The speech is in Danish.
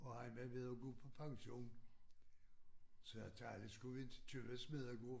Og han var ved at gå på pension så jeg talte skulle vi inte købe Smedegård